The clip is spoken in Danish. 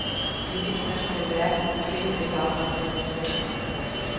I en international verden er problemerne ikke afgrænset nationalt.